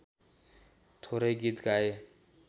थोरै गीत गाए